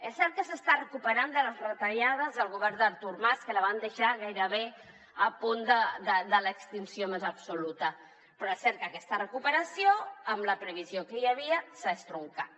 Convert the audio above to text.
és cert que s’està recuperant de les retallades del govern d’artur mas que la van deixar gairebé a punt de l’extinció més absoluta però és cert que aquesta recuperació amb la previsió que hi havia s’ha estroncat